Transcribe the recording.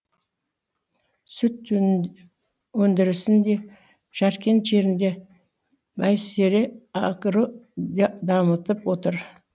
сүт өндірісін де жаркент жерінде байсере агро дамытып отыр